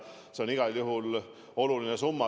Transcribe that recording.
See on igal juhul oluline summa.